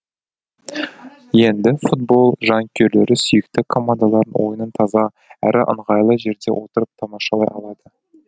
енді футбол жанкүйерлері сүйікті командаларының ойынын таза әрі ыңғайлы жерде отырып тамашалай алады